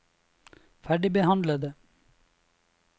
ferdigbehandlede